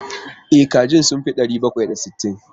E, kajin sun fi ɗari bakwai da sittin.